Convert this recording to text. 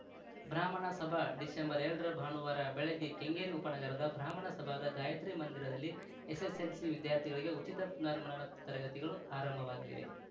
ಬ್ರಾಹ್ಮಣ ಸಭಾ ಡಿಸೆಂಬರ್ ಎರಡ ರ ಭಾನುವಾರ ಬೆಳಗ್ಗೆ ಕೆಂಗೇರಿ ಉಪನಗರದ ಬ್ರಾಹ್ಮಣ ಸಭಾದ ಗಾಯತ್ರಿಮಂದಿರದಲ್ಲಿ ಎಸ್ಸೆಸ್ಸೆಲ್ಸಿ ವಿದ್ಯಾರ್ಥಿಗಳಿಗೆ ಉಚಿತ ಪುನರ್ಮನನ ತರಗತಿಗಳು ಆರಂಭವಾಗಲಿವೆ